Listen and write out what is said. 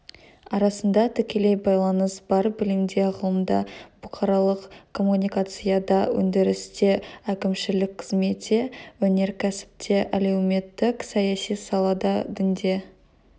арасында тікелей байланыс бар білімде ғылымда бұқаралық коммуникацияда өндірісте әкімшілік қызметте өнеркәсіпте әлеуметтік-саяси салада дінде